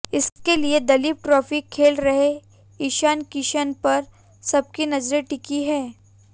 इसके लिए दलीप ट्रॉफी खेल रहे ईशान किशन पर सबकी नजरें टिकी हैं